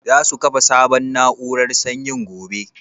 Za su kafa sabon na'urar sanyin gobe?